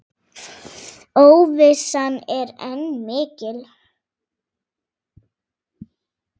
Óvissan er enn mikil.